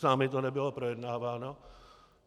S námi to nebylo projednáváno."